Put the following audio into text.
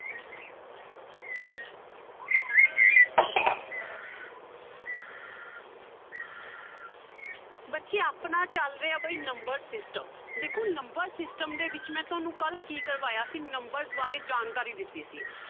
ਬੱਚੇ ਆਪਣਾ ਚੱਲ ਰਿਹਾ ਬਾਈ number system ਦੇਖੋ number system ਦੇ ਵਿੱਚ ਮੈਂ ਤੁਹਾਨੂੰ ਕੱਲ੍ਹ ਕੀ ਕਰਵਾਇਆ ਸੀ numbers ਬਾਰੇ ਜਾਣਕਾਰੀ ਦਿੱਤੀ ਸੀ।